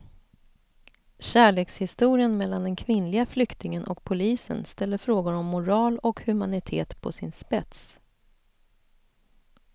Kärlekshistorien mellan den kvinnliga flyktingen och polisen ställer frågor om moral och humanitet på sin spets.